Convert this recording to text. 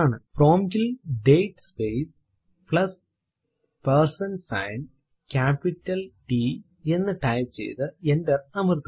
prompt ൽ date space plus percent sign capital T എന്ന് type ചെയ്തു എന്റർ അമർത്തുക